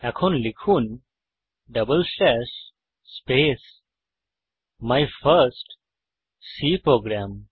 এখন লিখুন double slash space my first C programme